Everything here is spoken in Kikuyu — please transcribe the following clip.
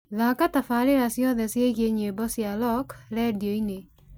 thaaka tabarĩra ciothe ciĩgiĩ nyĩmbo cia rock rĩndiũ-inĩ